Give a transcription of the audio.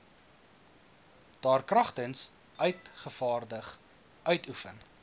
daarkragtens uitgevaardig uitoefen